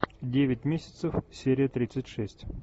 девять месяцев серия тридцать шесть